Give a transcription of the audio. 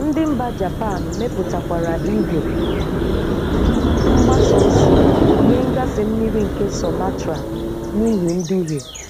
Ndi mba Japan mepụtakwara igwe mgbasa osi nye ngafe mmiri nke Sumatra n'ihi nduhie.